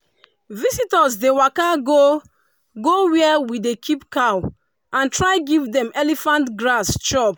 visitors dey waka go go where we dey keep cow and try give dem elephant grass chop.